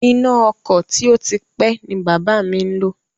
Iná ọkọ̀ tí ó ti pé ni bàbá mi ń lò